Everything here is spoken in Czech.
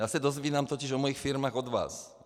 Já se dozvídám totiž o svých firmách od vás.